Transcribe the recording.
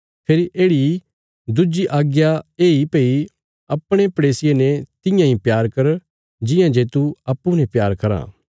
फेरी येढ़ि इ दुज्जी आज्ञा येई भई अपणे पड़ेसिये ने तियां इ प्यार कर जिआं जे तू अप्पूँ ने प्यार कराँ